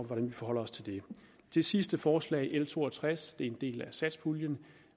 hvordan vi forholder os til det det sidste forslag l to og tres en del af satspuljeaftalen